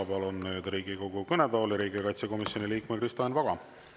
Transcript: Palun nüüd Riigikogu kõnetooli riigikaitsekomisjoni liikme Kristo Enn Vaga.